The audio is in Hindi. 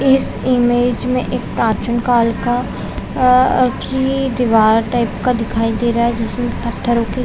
इस इमेज में एक प्रचीन कॉल का अ की दिवार टाइप का दिखाई दे रहा है जिसमे पत्थरो की--